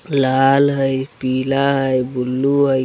लाल हय पीला हय बुल्लू हय।